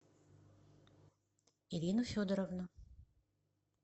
ирину федоровну